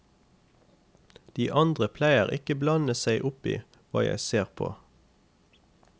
De andre pleier ikke blande seg oppi hva jeg ser på.